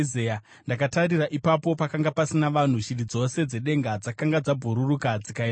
Ndakatarira, ipapo pakanga pasina vanhu; shiri dzose dzedenga dzakanga dzabhururuka dzikaenda kure.